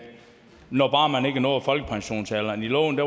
når bare man ikke er nået folkepensionsalderen i loven